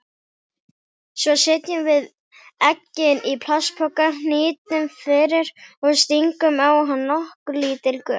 Svo setjum við eggin í plastpoka, hnýtum fyrir og stingum á hann nokkur lítil göt.